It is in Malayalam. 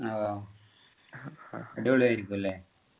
ഓ അടിപൊളി ആയിരിക്കും അല്ലെ